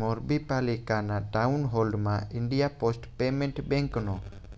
મોરબી પાલિકાના ટાઉનહોલમાં India post payment બેંકનો